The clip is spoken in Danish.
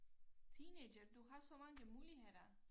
Teenager du har så mange muligheder